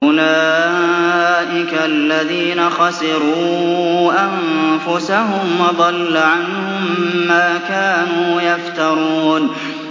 أُولَٰئِكَ الَّذِينَ خَسِرُوا أَنفُسَهُمْ وَضَلَّ عَنْهُم مَّا كَانُوا يَفْتَرُونَ